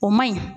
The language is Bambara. O man ɲi